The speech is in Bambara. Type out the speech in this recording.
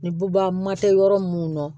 Ni buba ma kɛ yɔrɔ munnu na